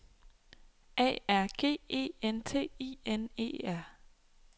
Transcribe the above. A R G E N T I N E R